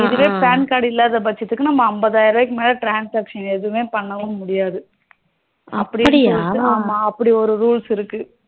இதுவே PAN card இல்லாத பட்ச்சத்துக்கு